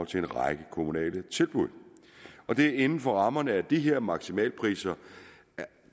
til en række kommunale tilbud og det er inden for rammerne af de her maksimalpriser